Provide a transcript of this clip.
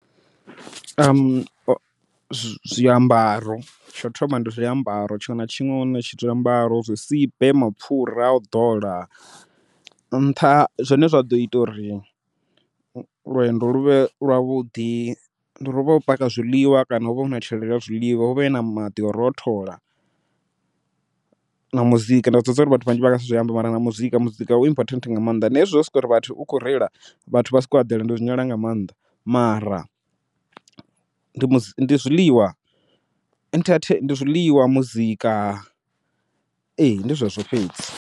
Zwiambaro tsho thoma ndi zwiambaro, tshiṅwe na tshiṅwe zwiambaro, zwisibe, mapfhura au ḓola nṱha zwane zwa ḓo ita uri lwendo luvhe lwavhuḓi ndi uri uvhe wo paka zwiḽiwa kana uvhe una tshelede ya zwiḽiwa uvhe u na maḓi au rothola. Na muzika ndi a zwiḓivha uri vhathu vhanzhi vhanga si zwi ambe mara na muzika muzika u important nga maanḓa, na hezwi zwo sokori vhathu u khou reila vhathu vha sokou eḓela ndi zwi nyala nga maanḓa, mara ndi zwiḽiwa ndi zwiḽiwa, muzika ee ndi zwezwo fhedzi.